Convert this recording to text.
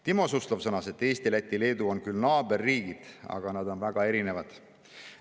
Timo Suslov sõnas, et Eesti, Läti ja Leedu on küll naaberriigid, aga nad on väga erinevad.